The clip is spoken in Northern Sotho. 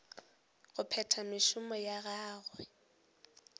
go phetha mešomo ya gagwe